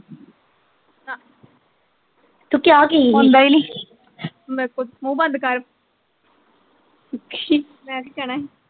ਹੁੰਦਾ ਈ ਨੀ, ਮੇਰੇ ਕੋਲ ਮੁਹ ਬੰਦ ਕਰ ਮੈਂ ਕੀ ਕਹਿਣਾ ਸੀ